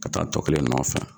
Ka taa tɔ kelen nɔfɛ